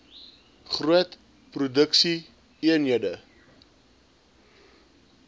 groot produksie eenhede